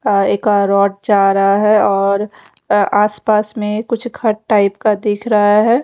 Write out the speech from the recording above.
आ एक रोड जा रहा है और आसपास में कुछ घर टाइप का दिख रहा है।